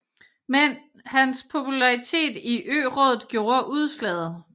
Men hans popularitet i ørådet gjorde udslaget